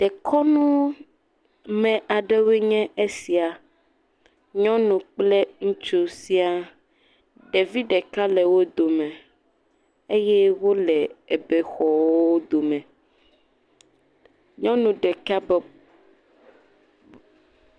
Dɔkɔnume aɖewoe nye sia. Nyɔnu kple ŋutsu sia. Ɖevi ɖeka le wo dome eye wole bexɔwo dome. Nyɔnu ɖeka bɔ…